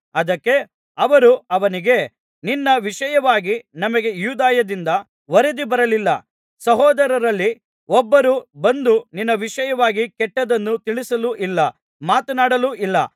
ಅದಕ್ಕೆ ಅವರು ಅವನಿಗೆ ನಿನ್ನ ವಿಷಯವಾಗಿ ನಮಗೆ ಯೂದಾಯದಿಂದ ವರದಿ ಬರಲಿಲ್ಲ ಸಹೋದರರಲ್ಲಿ ಒಬ್ಬರೂ ಬಂದು ನಿನ್ನ ವಿಷಯವಾಗಿ ಕೆಟ್ಟದ್ದನ್ನು ತಿಳಿಸಲೂ ಇಲ್ಲ ಮಾತನಾಡಲೂ ಇಲ್ಲ